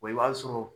i b'a sɔrɔ